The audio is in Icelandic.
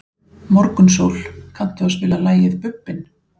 Morgunsól, kanntu að spila lagið „Bubbinn“?